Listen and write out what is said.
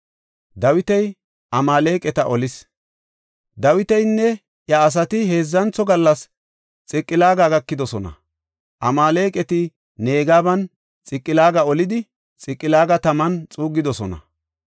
Dawitinne iya asati heedzantho gallas Xiqilaaga gakidosona. Amaaleqati Negebanne Xiqilaaga olidi, Xiqilaaga taman xuuggidosona.